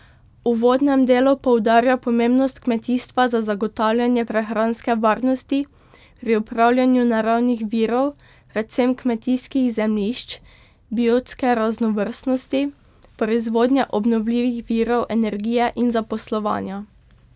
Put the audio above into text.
V uvodnem delu poudarja pomembnost kmetijstva za zagotavljanje prehranske varnosti, pri upravljanju naravnih virov, predvsem kmetijskih zemljišč, biotske raznovrstnosti, proizvodnje obnovljivih virov energije in zaposlovanja.